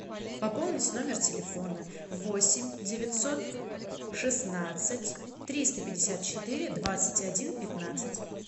пополнить номер телефона восемь девятьсот шестнадцать триста пятьдесят четыре двадцать один пятнадцать